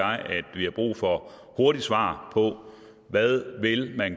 vi har brug for et hurtigt svar på hvad vil